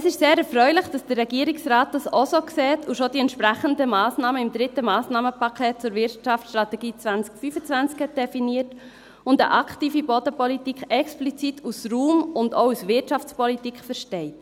Es ist sehr erfreulich, dass dies der Regierungsrat auch so sieht, schon die entsprechenden Massnahmen im dritten Massnahmenpaket zur Wirtschaftsstrategie 2025 definiert hat und eine aktive Bodenpolitik explizit als Raum- und auch als Wirtschaftspolitik versteht.